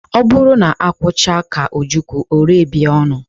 Ọ bụrụ na akwụ chaa ka ojukwu ọ rebie ọnụ.